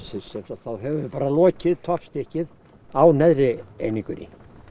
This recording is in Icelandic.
þá höfum við bara lokið toppstykkið á neðri einingunni